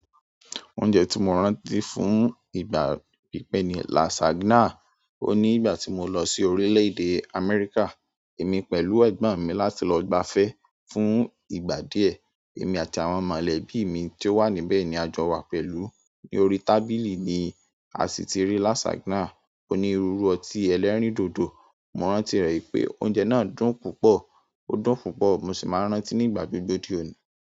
Oúnjẹ tí mo rántí fún ìgbà pípẹ́ ni lasagna. Ó nígbà tí mo lọ sí orílẹ̀-èdè Amẹ́ríkà, èmi pẹ̀lú ẹ̀gbọ́n mi láti lọ gbafẹ́ fún ìgbà díẹ̀. Èmi àti àwọn mọ̀lẹ́bí mi ti ó wà níbẹ̀ ni a jọ wà pẹ̀lú. Ni orí tábìlì ni a sì ti rí lasagna onírúurú ọtí ẹlẹ́rìndòdò. Mo rántí rẹ̀ ipé oúnjẹ náà dùn púpọ̀. Ó dùn púpọ̀, mo sì máa rántí nígbà gbogbo di òní.